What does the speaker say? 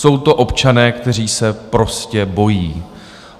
Jsou to občané, kteří se prostě bojí.